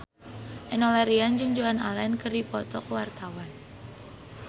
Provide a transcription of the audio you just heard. Enno Lerian jeung Joan Allen keur dipoto ku wartawan